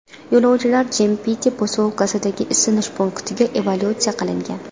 Yo‘lovchilar Jimpiti posyolkasidagi isinish punktiga evakuatsiya qilingan.